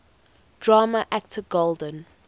drama actor golden